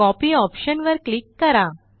copy option वर click करा